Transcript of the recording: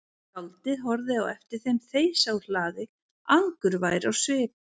Skáldið horfði á eftir þeim þeysa úr hlaði angurvær á svip.